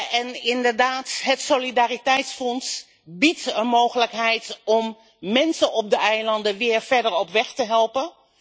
En inderdaad, het Solidariteitsfonds biedt een mogelijkheid om mensen op de eilanden weer verder op weg te helpen.